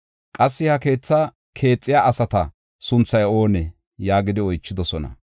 Qassi, “Ha keetha keexiya asata sunthay oonee?” yaagidi oychidosona.